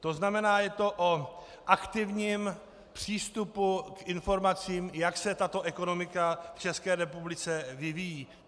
To znamená, je to o aktivním přístupu k informacím, jak se tato ekonomika v České republice vyvíjí.